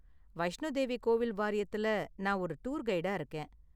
வைஷ்ணோ தேவி கோவில் வாரியத்துல நான் ஒரு டூர் கைடா இருக்கேன்.